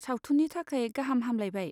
सावथुननि थाखाय गाहाम हामलाइबाय!